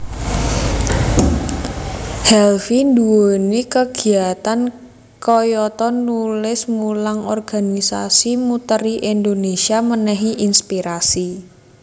Helvy nduweni kegiatan kayata nulis mulang organisasi muteri Indonesia menehi inspirasi